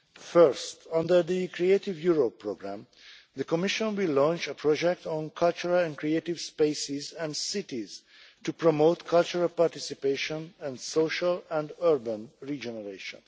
First, under the Creative Europe programme, the Commission will launch a project on cultural and creative spaces and cities to promote cultural participation and social and urban regeneration.